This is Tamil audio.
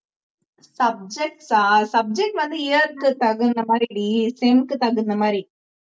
subject டா subject வந்து year க்கு தகுந்த மாதிரிடீ sem க்கு தகுந்த மாதிரி